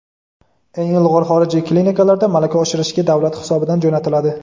eng ilg‘or xorijiy klinikalarda malaka oshirishga davlat hisobidan jo‘natiladi.